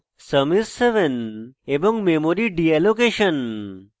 sum is 7 এবং memory deallocation